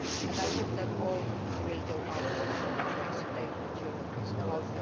I hope we will all go out in order to explain what Europe is about.